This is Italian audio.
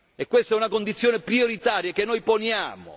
E questa è una condizione prioritaria che noi poniamo.